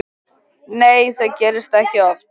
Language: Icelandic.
Nei það gerist ekki oft.